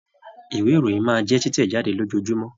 Ìwé ìròyìn máa jẹ titẹ̀ jáde lójoojúmọ́.